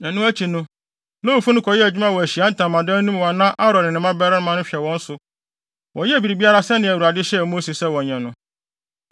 Ɛno akyi no, Lewifo no kɔyɛɛ adwuma wɔ Ahyiae Ntamadan no mu a na Aaron ne ne mmabarima no hwɛ wɔn so Wɔyɛɛ biribiara sɛnea Awurade hyɛɛ Mose sɛ wɔnyɛ no.